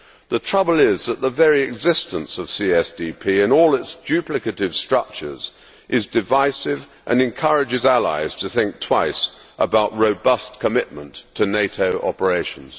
The trouble is that the very existence of the CSDP and all its duplicative structures is divisive and encourages allies to think twice about robust commitment to NATO operations.